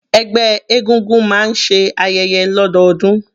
Ẹgbẹ́ egúngún máa ń ṣe ayẹyẹ lọdọọdun.